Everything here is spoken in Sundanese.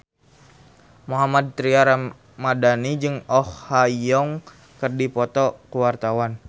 Mohammad Tria Ramadhani jeung Oh Ha Young keur dipoto ku wartawan